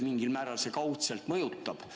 Mingil määral see kaudselt neid mõjutab.